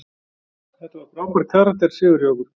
Þetta var frábær karakter sigur hjá okkur.